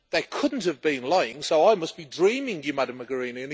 They couldn't have been lying, so I must be dreaming you Ms Mogherini.